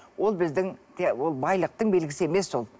ол біздің ол байлықтың белгісі емес ол